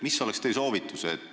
Mis oleks teie soovitus?